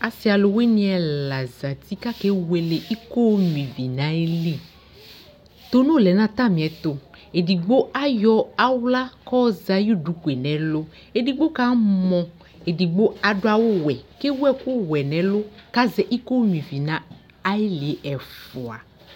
Asɩ ɔlʋwɩnɩ ɛla zati k'ake wele iko onyuivi n'ayili ; tono lɛ n'atamɩɛtʋ Edigbo ayɔ aɣla k'ɔɔzɛ ayʋ dukue n'ɛlʋ ; edigbo ka mɔ, edigbo adʋ awʋwɛ k'ewu ɛkʋwɛ n'ɛlʋ k'azɛ ikonyuivi na ayɩlɩ ɛfʋa